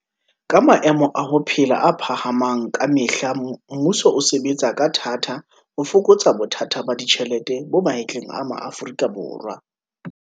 Ka maemo a ho phela a phahamang ka me hla mmuso o sebe tsa ka thata ho fokotsa bothata ba ditjhelete bo mahetleng a maAforika